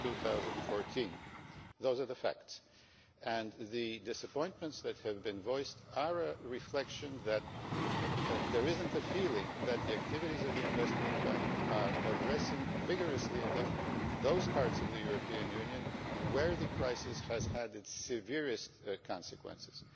2014. Those are the facts. The disappointments that have been voiced are a reflection that there is not a feeling that the activities of the Investment Bank are addressing vigorously enough those parts of the European Union where the crisis has had its severest consequences.